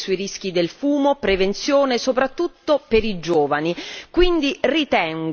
corretta informazione sui rischi del fumo, prevenzione soprattutto per i giovani,